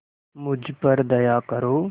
मुझ पर दया करो